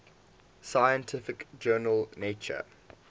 scientific journal nature